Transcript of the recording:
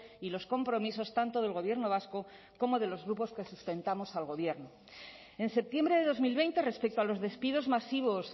y los compromisos tanto del gobierno vasco como de los grupos que sustentamos al gobierno en septiembre de dos mil veinte respecto a los despidos masivos